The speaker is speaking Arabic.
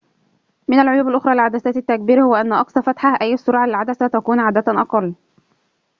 من العيوب الأخرى لعدسات التكبير هو أن أقصى فتحة أي السرعة للعدسة تكون عادة أقل